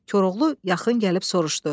Koroğlu yaxın gəlib soruşdu.